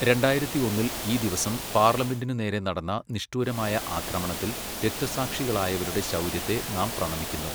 രണ്ടായിരത്തി ഒന്നിൽ ഈ ദിവസം പാർലമെന്റിനു നേരെ നടന്ന നിഷ്ഠൂരമായ ആക്രമണത്തിൽ രക്തസാക്ഷികളായവരുടെ ശൗര്യത്തെ നാം പ്രണമിക്കുന്നു.